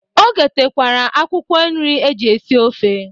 O gotekwere akwụkwọ nri eji esi ofe.